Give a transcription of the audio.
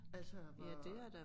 Altså hvor